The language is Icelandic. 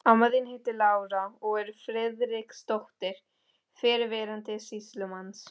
Amma þín heitir Lára og er Friðriksdóttir, fyrrverandi sýslumanns.